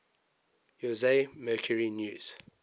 jose mercury news